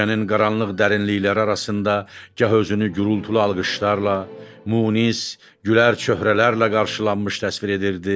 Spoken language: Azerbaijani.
Gecənin qaranlıq dərinlikləri arasında gah özünü gurultulu alqışlarla, Munis, gülər çöhrələrlə qarşılanmış təsvir edirdi.